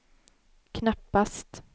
knappast